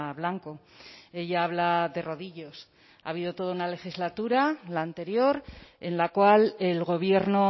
blanco ella habla de rodillos ha habido toda una legislatura la anterior en la cual el gobierno